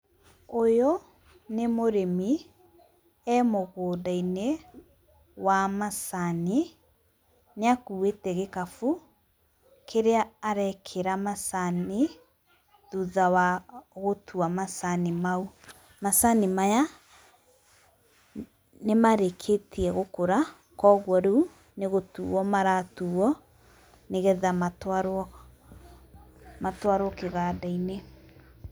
Ũyũ nĩ mũrĩmi, e mũgũnda-inĩ wa macani, nĩ akuĩte gĩkabũ kĩrĩa arekĩrĩa macani thutha wa gũtua macani mau. Macani maya nĩ marĩkĩtie gũkũra kwoguo rĩu nĩ gũtuo maratuo nĩgetha matwarwo, matwarwo kĩganda-inĩ.